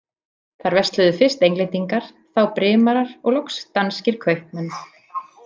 Þar versluðu fyrst Englendingar, þá Brimarar og loks danskir kaupmenn.